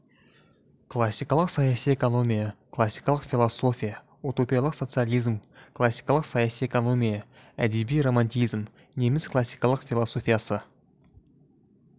классикалық саяси экономия классикалық философия утопиялық социализм классикалық саяси экономия әдеби романтизм неміс классикалық философиясы